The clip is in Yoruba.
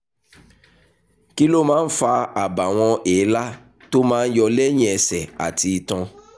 kí ló máa ń fa àbàwọ́n èélá tó máa ń yọ lẹ̀yìn ẹsẹ̀ àti itan?